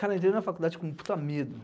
Cara, eu entrei na faculdade com um puta medo.